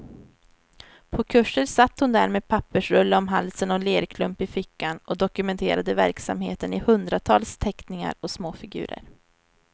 På kurser satt hon där med pappersrulle om halsen och lerklump i fickan och dokumenterade verksamheten i hundratals teckningar och småfigurer.